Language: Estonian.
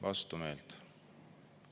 Vastumeelt.